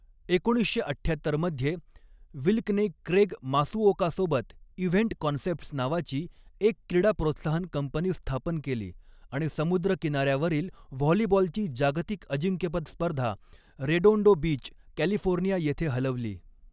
एकोणीसशे अठ्ठ्याहत्तर मध्ये, विल्कने क्रेग मासुओकासोबत इव्हेंट कॉन्सेप्ट्स नावाची एक क्रीडा प्रोत्साहन कंपनी स्थापन केली आणि समुद्रकिनार्यावरील व्हॉलीबॉलची जागतिक अजिंक्यपद स्पर्धा रेडोंडो बीच, कॅलिफोर्निया येथे हलवली.